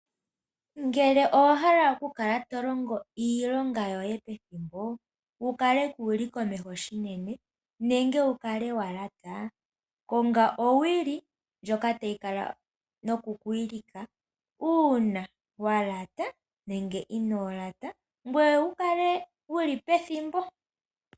Ngele owahala okukala tolongo iilonga yoye pethimbo, wukale kuli komeho shinene nenge wukale walaata, konga owili ndjoka tayi kala noku kuwilika uuna walata nenge ino laata ngoye wukale wuli pethimbo.